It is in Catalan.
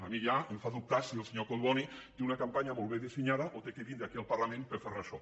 a mi ja em fa dubtar si el senyor collboni té una campanya molt ben dissenyada o ha de vindre aquí al parlament per fer ne ressò